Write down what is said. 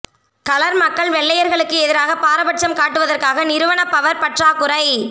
colour மக்கள் வெள்ளையர்களுக்கு எதிராக பாரபட்சம் காட்டுவதற்காக நிறுவன பவர் பற்றாக்குறை